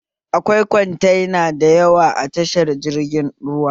Akwai kwantena da yawa a tashar jirgin ruwa